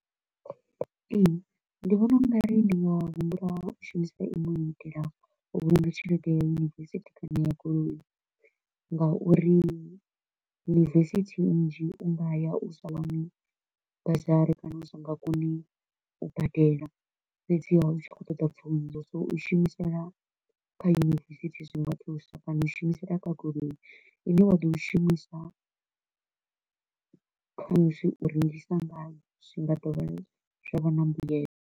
Ee, ndi vhona u ngari ndi nga humbula u shumisa inwe u itela u vhulunga tshelede ya university kana ya goloi, nga uri University nnzhi u nga ya u sa wani bursary kana u si nga koni u badela. Fhedziha u tshi kho u ṱoḓa pfunzo, so u i shumisela kha university zwi nga thusa kana u i shumisela kha goloi i ne wa ḓo i shumisa khamusi u rengisa ngayo zwi nga dovha zwa vha na mbuelo.